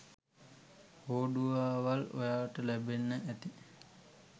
හොඩුවාවල් ඔයාලට ලැබෙන්න ඇති